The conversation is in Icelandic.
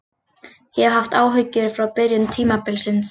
Ég hef haft áhyggjur frá byrjun tímabilsins.